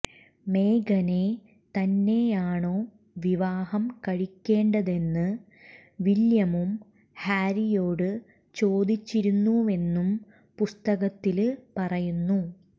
മേഗനെ തന്നെയാണോ വിവാഹം കഴിക്കേണ്ടതെന്ന് വില്യമും ഹാരിയോട് ചോദിച്ചിരുന്നുവെന്നും പുസ്തകത്തില് പറയുന്നു